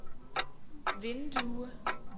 vindue